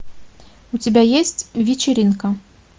у тебя есть вечеринка